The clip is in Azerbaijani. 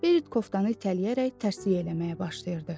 Berit koftanı itələyərək tərslik eləməyə başlayırdı.